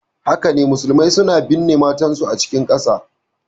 Haka ne, musulmai suna binne mamatansu a cikin ƙasa.